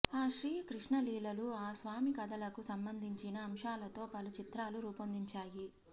ఆ శ్రీ కృష్ణలీలలు ఆ స్వామి కథలకు సంబంధించిన అంశాలతో పలు చిత్రాలు రూపొందించాయి